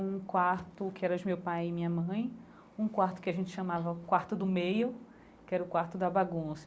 um quarto que era de meu pai e minha mãe, um quarto que a gente chamava o quarto do meio, que era o quarto da bagunça.